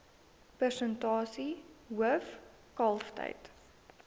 persentasie hoof kalftyd